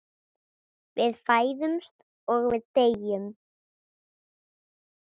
Við fæðumst og við deyjum.